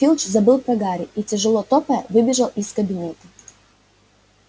филч забыл про гарри и тяжело топая выбежал из кабинета